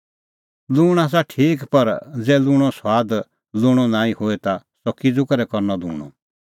लूंण आसा ठीक पर ज़ै लूंणो सुआद लूंणअ नांईं होए ता सह किज़ू करै करनअ लूंणअ